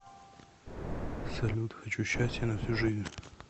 салют хочу счастье на всю жизнь